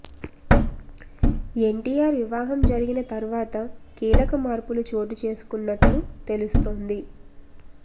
ఎన్టీఆర్ వివాహం జరిగిన తర్వాత కీలక మార్పులు చోటు చేసుకున్నట్లు తెలుస్తోంది